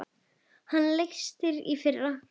Hann lést í fyrra.